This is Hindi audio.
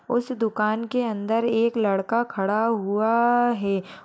उस दुकान के अंदर एक लड़का खड़ा हुआ आआ है।